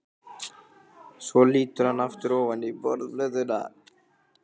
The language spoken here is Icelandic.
Svo lítur hann aftur ofan í borðplötuna.